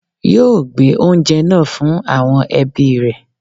Yóò gbé oúnjẹ náà fun àwọn ẹbí rẹ